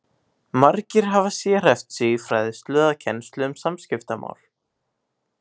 Margir hafa sérhæft sig í fræðslu eða kennslu um samskiptamál.